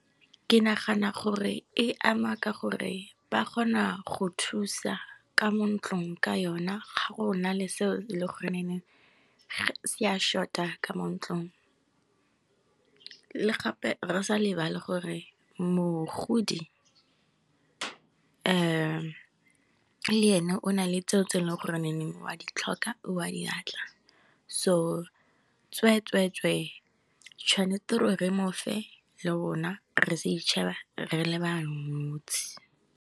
Ke nagana gore e ama ka gore ba kgona go thusa, ka mo ntlong ka yona ga go na le seo e leng se a short-a ka mo ntlong. Le gape re sa lebale gore mogodi le ene o na le tseo tse e leng gore wa di tlhoka ka wa diatla so, tswee-tswe-tswe tšhwanetse gore mofe le bona re itšheba re le ba nosi.